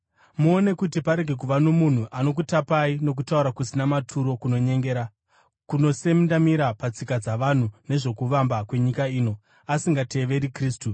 Muone kuti parege kuva nomunhu anokutapai nokutaura kusina maturo kunonyengera, kunosendamira patsika dzavanhu nezvokuvamba kwenyika ino, asingateveri Kristu.